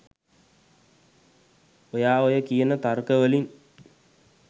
ඔයා ඔය කියන තර්ක වලින්